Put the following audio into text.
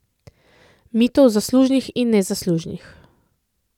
Mitov zaslužnih in nezaslužnih.